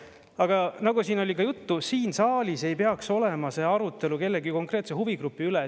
Aga nagu siin oli ka juttu, siin saalis ei peaks olema see arutelu kellegi konkreetse huvigrupi üle.